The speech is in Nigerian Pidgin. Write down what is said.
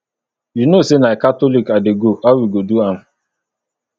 you know say na catholic i dey go how we go do do am